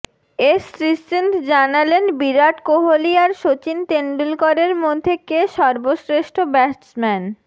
S Sreesanth জানালেন বিরাট কোহলি আর শচীন তেন্ডুলকরের মধ্যে কে সর্বশ্রেষ্ঠ ব্যাটসম্যান